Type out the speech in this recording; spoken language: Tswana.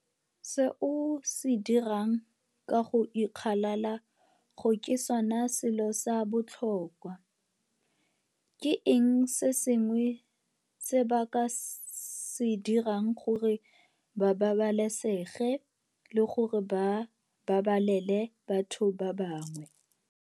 Se o se dirang ka go ikgalala go ke sone selo sa botlhokwa. Ke eng se sengwe se ba ka se dirang gore ba babalesege le gore ba babalele batho ba bangwe?